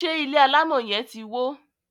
ṣe ilé alamò yen tí wọ?